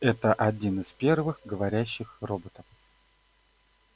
это один из первых говорящих роботов